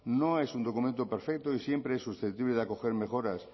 no es un documento perfecto y siempre es susceptible de acoger mejoras